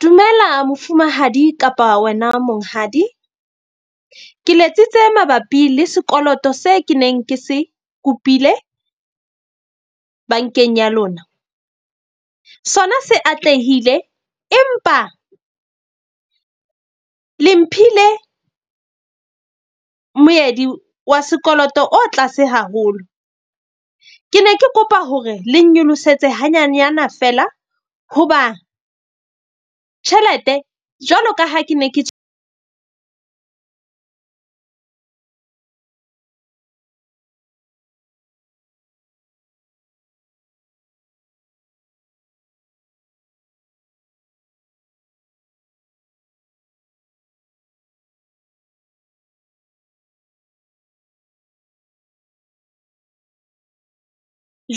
Dumela mofumahadi kapa wena monghadi. Ke letsitse mabapi le sekoloto se ke neng ke se kopile bank-eng ya lona. Sona se atlehile empa le mphile moedi wa sekoloto o tlase haholo. Ke ne ke kopa hore le nnyolosetse ha nyanyana feela hoba tjhelete. Jwalo ka ha ke ne ke